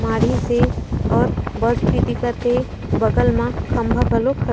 माढ़ीस हे अउ बस भी दिखत हे बगल मा खम्बा घलो ख --